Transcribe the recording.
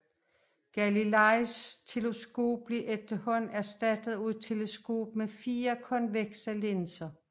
Galileis teleskop blev efterhånden erstattet af et teleskop med fire konvekse linser